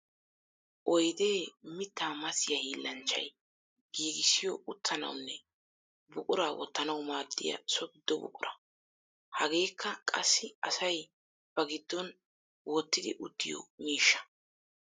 Oydde mitta massiya hiillanchchay giigissiyo uttanawunne buqura wottanawu maadiya so gido buqura. Hageeka qassi asay ba son wottiddi uttiyo miishsha.